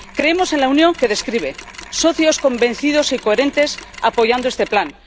Creemos en la Unión que describe socios convencidos y coherentes apoyando este plan